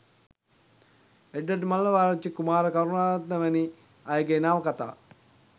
එඩ්වඩ් මල්ලවආරච්චි කුමාර කරුණාරත්න වැනි අය ගේ නවකතා